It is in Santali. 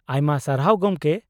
ᱟᱭᱢᱟ ᱥᱟᱨᱦᱟᱣ ᱜᱚᱢᱠᱮ ᱾